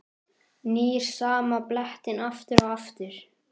Nýr sama blettinn aftur og aftur.